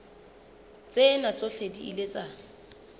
tsena tsohle di ile tsa